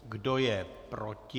Kdo je proti?